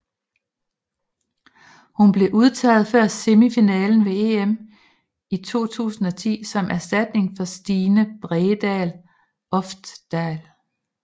Hun blev udtaget før semifinalen ved EM i 2010 som erstatning for Stine Bredal Oftedal